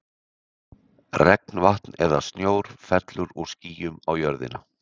Regnvatn eða snjór fellur úr skýjum á jörðina.